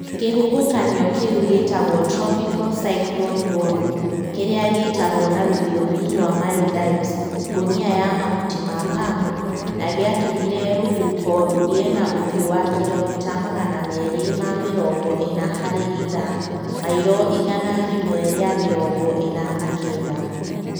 Kĩhuhũkanio kĩu gĩtagwo Tropical Cyclone Gonu, kĩrĩa gĩĩtagwo na rũthiomi rwa Maldives ngũnia ya mahutĩ ma pamu, nĩ gĩatũmire rũhuho rũgĩe na ũhiũ wa kilomita magana meerĩ ma mĩrongo ĩna harĩ ithaa(mairo igana rĩmwe rĩa mĩrongo ĩna na kenda).